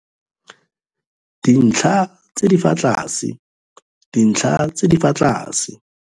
Dintlha tse di fa tlase - dintlha tse di fa tlase